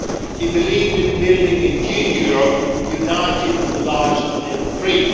He believed in building a new Europe united, enlarged and free.